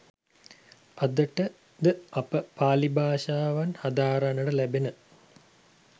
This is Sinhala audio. අදට ද අපට පාළි භාෂාවෙන් හදාරන්නට ලැබෙන